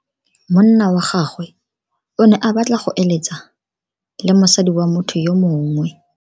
Monna wa gagwe o ne a batla go eletsa le mosadi wa motho yo mongwe.